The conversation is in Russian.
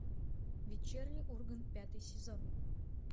вечерний ургант пятый сезон